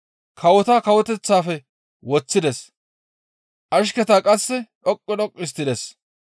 Kawota kawoteththafe woththides, ashketa qasse dhoqqu dhoqqu histtides.